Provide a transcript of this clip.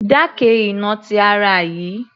Dákẹ́ ìnà ti ara yìí